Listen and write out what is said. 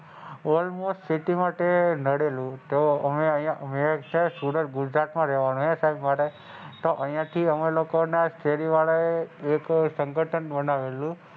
almost city માટે નડેલું તો અમે અહીંયા ઉત્તર ગુજરાત માં રહેવાનું સાહેબ ત્યાં માટે અહીંયા થી ત્યાં લોકો માટે તે શહેરી વાળા એ લોકો નું સંગઠન બનાવેલું.